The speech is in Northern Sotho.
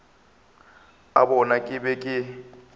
a bona ke be ke